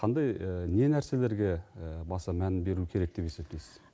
қандай не нәрселерге баса мән беру керек деп есептейсіз